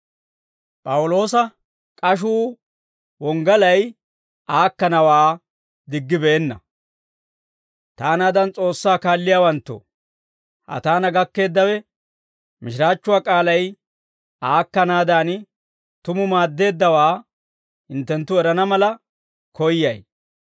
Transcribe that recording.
Taanaadan S'oossaa kaalliyaawanttoo, ha taana gakkeeddawe mishiraachchuwaa k'aalay aakkanaadan tumu maaddeeddawaa hinttenttu erana mala koyyay.